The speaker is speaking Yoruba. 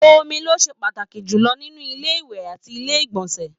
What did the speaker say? Omi ló ṣe pàtàkì jùlọ nínú ilé ìwẹ̀ àti ilé ìgbọ̀nsẹ̀